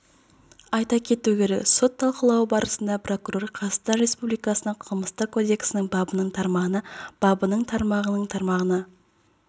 айта кету керек сот талқылауы барысында прокурор қазақстан республикасы қылмыстық кодексінің бабының тармағына бабының тармағының тармағына